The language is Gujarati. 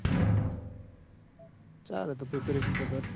ચાલ તું preparation તો કર